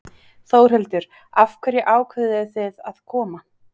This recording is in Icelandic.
Þórhildur: Af hverju ákváðuð þið að koma?